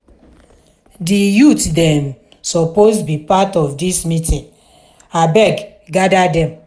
di youth dem suppose be part of dis meeting abeg gada dem.